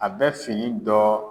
A bɛ fini dɔ